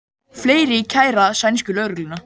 Fleiri kæra sænsku lögregluna